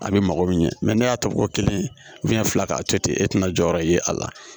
A bɛ mako ɲɛ mɛ ne y'a ta ko kelen fila k'a to ten e tɛna jɔyɔrɔ ye a la